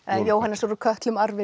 Jóhannesar úr kötlum arfinum